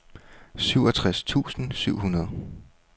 syvogtres tusind syv hundrede